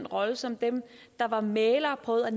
rollen som dem der var mæglere og prøvede at